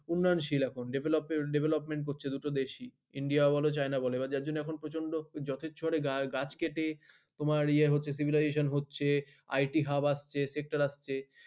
উন্নয়নশীল এখন development হচ্ছে দুটো দেশই। ইন্ডিয়া বলো চাইনা বলো এবার যার জন্য এখন প্রচন্ড যথেষ্ট গাছ কেটে তোমার ইয়ে হচ্ছে civilization হচ্ছে একটি হাব আসছে sector আসছে।